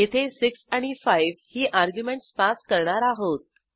येथे 6 आणि 5 ही अर्ग्युमेंटस पास करणार आहोत